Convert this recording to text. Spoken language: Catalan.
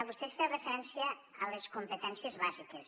vostè feia referència a les competències bàsiques